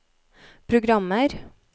programmer